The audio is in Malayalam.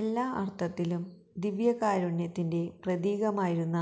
എല്ലാ അർഥത്തിലും ദിവ്യകാരുണ്യത്തിന്റെ പ്രതീകമായിരുന്ന